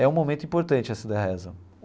É um momento importante essa da reza.